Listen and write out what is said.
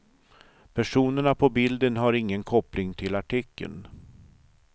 Personerna på bilden har ingen koppling till artikeln.